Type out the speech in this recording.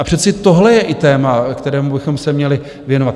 A přece tohle je i téma, kterému bychom se měli věnovat.